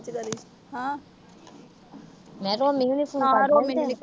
ਹਾਂ। ਮੈਂ ਕਿਹਾ